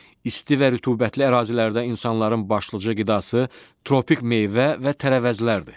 İsti və rütubətli ərazilərdə insanların başlıca qidası tropik meyvə və tərəvəzlərdir.